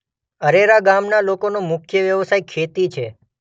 અરેરા ગામના લોકોનો મુખ્ય વ્યવસાય ખેતી છે.